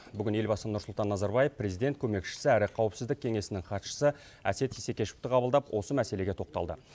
бүгін елбасы нұрсұлтан назарбаев президент көмекшісі әрі қауіпсіздік кеңесінің хатшысы әсет исекешевті қабылдап осы мәселеге тоқталды